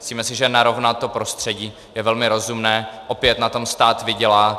Myslíme si, že narovnat to prostředí je velmi rozumné, opět na tom stát vydělá -